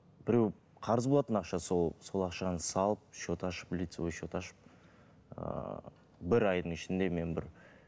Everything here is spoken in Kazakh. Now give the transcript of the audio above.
біреу қарыз болатын ақша сол сол ақшаны салып счет ашып лицевой счет ашып ыыы бір айдың ішінде мен бір